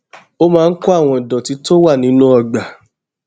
ó máa ń kó àwọn ìdòtí tó wà nínú ọgbà